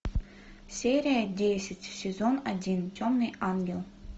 серия десять сезон один темный ангел